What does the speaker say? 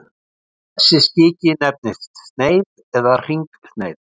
þessi skiki nefnist sneið eða hringsneið